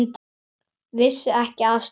Vissi ekki af stríði.